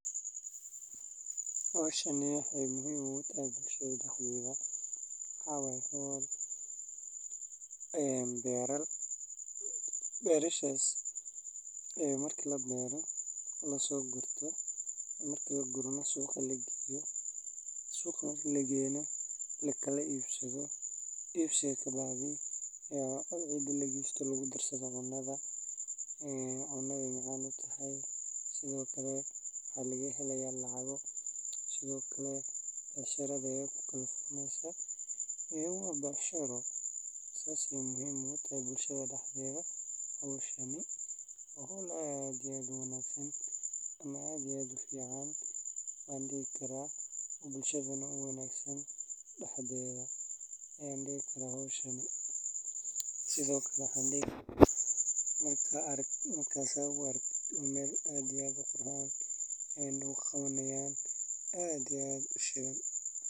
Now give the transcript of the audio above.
Howshani waxey muhim ugu tahay bulshada dexdedha waxa waye beerar ,berashas marka labeero beerta waa marxalad muhiim ah oo ka mid ah howlaha beeraleydu qabtaan si ay u helaan dalag wanaagsan. Beero waxaa la bilaabaa marka dhulku diyaar yahay, la nadiifiyo, lana qodo ama la furo si caradu u jilciso. Ka dib waxaa lagu daraa bacrimin dabiici ah sida digada.